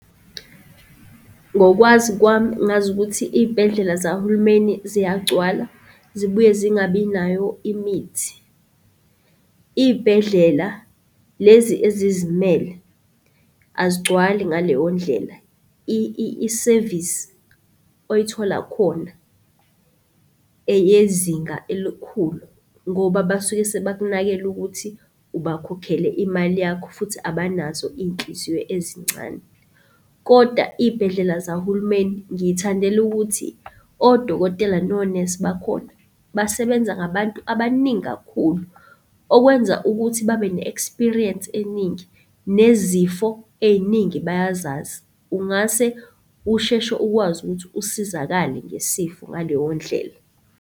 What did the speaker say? Ngokwazi kwami ngazi ukuthi iy'bhedlela zahulumeni ziyagcwala, zibuye zingabi nayo imithi. Iy'bhedlela lezi ezizimele azigcwali ngaleyo ndlela. Isevisi oyithola khona eyezinga elikhulu ngoba basuke sebakunakela ukuthi ubakhokhele imali yakho futhi abanazo inhliziyo ezincane. Kodwa iy'bhedlela zahulumeni ngiy'thandela ukuthi odokotela nonesi bakhona basebenza ngabantu abaningi kakhulu, okwenza ukuthi babene-experience eningi, nezifo ey'ningi bayazazi. Ungase usheshe ukwazi ukuthi usizakale ngesifo ngaleyo ndlela.